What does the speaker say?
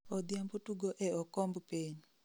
odhiambo tugo e okomb piny